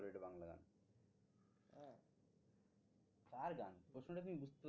কার গান? প্রশ্নটা তুমি